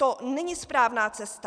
To není správná cesta.